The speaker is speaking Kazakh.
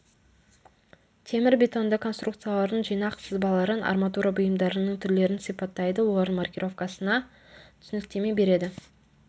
темірбетонды конструкциялардың жинақ сызбаларын арматура бұйымдарының түрлерін сипаттайды олардың маркировкасына түсініктеме береді